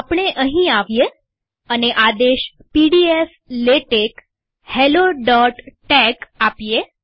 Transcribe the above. આપણે અહીં આવીએ અને આદેશ પીડીએફ લેટેક્સ helloટેક્સ આપીએ